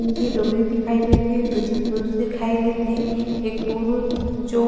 तीन झी डोकरी दिखाई देत हे दु झी पुरुष दिखाई देत हे एक पुरुष जो--